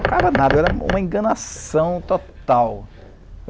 Não tocava nada. Eu era uma enganação total.